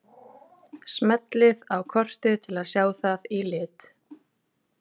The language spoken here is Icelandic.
Smellið á kortið til að sjá það í lit.